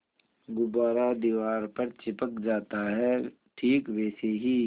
गुब्बारा दीवार पर चिपक जाता है ठीक वैसे ही